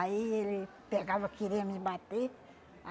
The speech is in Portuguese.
Aí ele pegava, queria me bater.